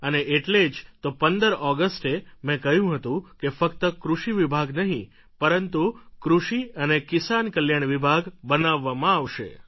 અને એટલે જ તો પંદર ઑગસ્ટે મે કહ્યું હતું કે ફક્ત કૃષિ વિભાગ નહિ પરંતુ કિસાન અને કલ્યાણ વિભાગ બનાવવામાં આવશે